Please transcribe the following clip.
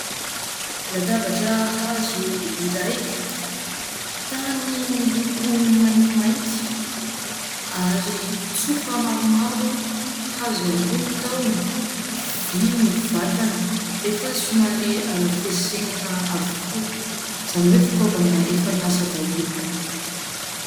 Latabatra hazo iray, tany miloko maintimainty ary tsofa maromaro, hazo ihany koa ny tahony, vy ny vatany, efa somary arafesenina avokoa izany izany hoe fitaovana efa niasa daholo.